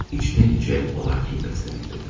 Amma içdən-içə ona kin bəsləməkdədir.